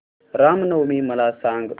राम नवमी मला सांग